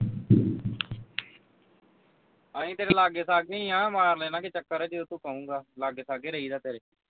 ਅਹੀ ਤੇਰੇ ਲਾਗੇ ਸਾਗੇ ਹੀ ਆਂ ਮਾਰਲਾਂਗੇ ਚੱਕਰ ਜੇ ਤੂੰ ਕਹੂੰਗਾ ਲਾਗੇ ਸਾਗੇ ਹੀ ਰਹਿੰਦਾ ਤੇਰੇ